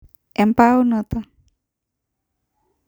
embaunoto